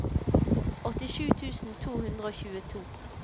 åttisju tusen to hundre og tjueto